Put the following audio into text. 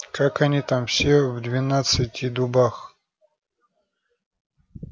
как они там все в двенадцати дубах